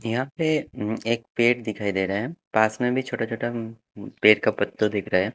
यहाँ पे अम्म एक पेट दिखाई दे रहा है पास में भी छोटा छोटा म्म पेड़ का पत्ता दिख रहा है।